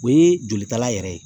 O ye jolitala yɛrɛ ye